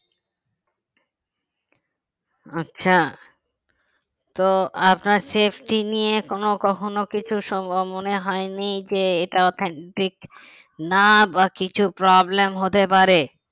আচ্ছা তো আপনার safety নিয়ে কোন কখনো কিছু সম্ভব মনে হয়নি যে এটা authentic না বা কিছু problem হতে পারে